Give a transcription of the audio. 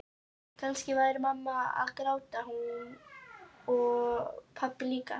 Kannski væri mamma að gráta núna og pabbi líka.